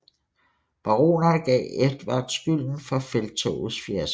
Baronerne gav Edvard skylden for felttogets fiasko